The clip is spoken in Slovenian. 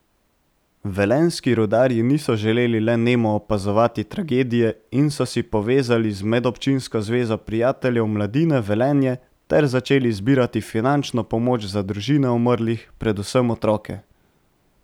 Velenjski rudarji niso želeli le nemo opazovati tragedije in so se povezali z Medobčinsko zvezo prijateljev mladine Velenje ter začeli zbirati finančno pomoč za družine umrlih, predvsem otroke.